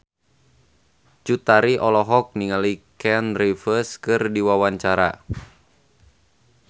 Cut Tari olohok ningali Keanu Reeves keur diwawancara